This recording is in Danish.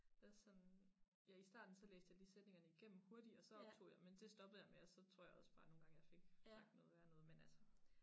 Det også sådan ja i starten så læste jeg lige sætningerne igennem hurtigt også optog jeg men det stoppede jeg med og så tror jeg også bare nogen gange jeg fik sagt noget værre noget men altså